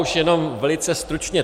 Už jenom velice stručně.